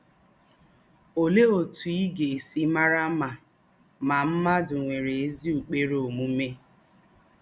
Olèé òtù í gà-èsí màrà ma ma mmádụ̀ nwèrè ézí ụ́kpèrè ōmùmè?